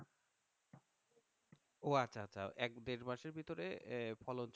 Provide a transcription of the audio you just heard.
ও আচ্ছা আচ্ছা এক দেড় মাসের ভিতরে আহ ফলন